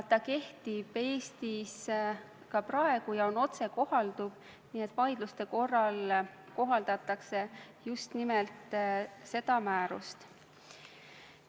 See kehtib Eestis ka praegu ja on otsekohalduv, nii et vaidluste korral kohaldatakse just nimelt seda määrust.